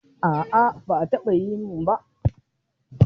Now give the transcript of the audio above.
A'a ba a taɓa yi min ba.